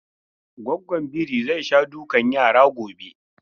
Gwaggon biri zai sha dukan yara gobe.